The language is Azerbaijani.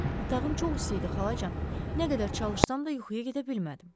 Otağım çox isti idi, xalacan, nə qədər çalışsam da yuxuya gedə bilmədim.